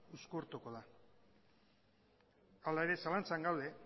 uzkurtuko da hala ere zalantzan gaude